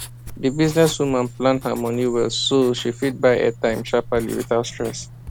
the business woman plan her money well so she fit buy airtime sharperly without stress